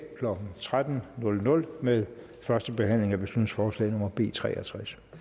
klokken tretten med første behandling af beslutningsforslag nummer b treogtredsende